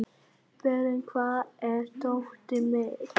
Berent, hvar er dótið mitt?